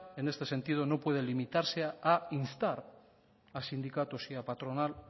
en este sentido no puede limitarse a instar a sindicatos y a patronal